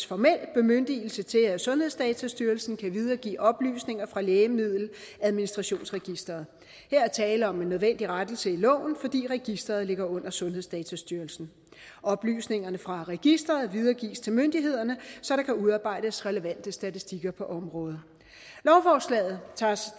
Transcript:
formelt bemyndigelse til at sundhedsdatastyrelsen kan videregive oplysninger fra lægemiddeladministrationsregisteret her er tale om en nødvendig rettelse i loven fordi registeret ligger under sundhedsdatastyrelsen oplysningerne fra registeret videregives til myndighederne så der kan udarbejdes relevante statistikker på området lovforslaget tager os